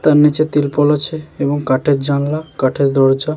তার নিচে ত্রিপল আছে এবং কাঠের জানলা কাঠের দরজা।